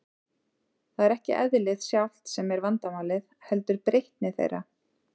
Það er ekki eðlið sjálft sem er vandamálið, heldur breytni þeirra.